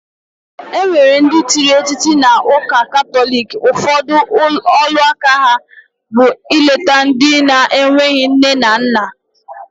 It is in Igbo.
Enwere ndi tiri etiti na uuka katholic, ufodu olu aka aha bu ileta ndi na enwere nne na nna.